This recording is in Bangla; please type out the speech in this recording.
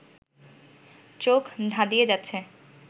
চোখ ধাঁধিয়ে যাচ্ছে